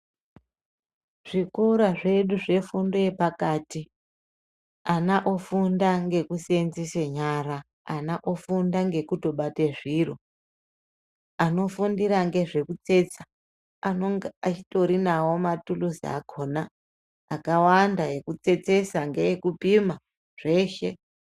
Zvikora zvedu zvefundo yepakati, ana ofunda ngekuseenzese nyara, ana ofunda ngekutobate zviro. Anofundire ngezvekutsetsa anenge atorinawo maturuzi akhona akawanda ekutsetsesa, ngeekupima, zveshe.